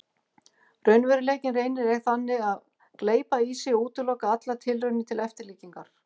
Raunveruleikinn reynir þannig að gleypa í sig og útiloka allar tilraunir til eftirlíkinga.